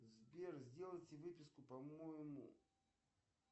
сбер сделайте выписку по моему